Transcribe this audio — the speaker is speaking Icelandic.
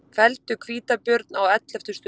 Felldu hvítabjörn á elleftu stundu